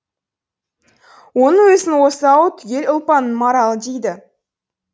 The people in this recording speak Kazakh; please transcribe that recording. оның өзін осы ауыл түгел ұлпанның маралы дейді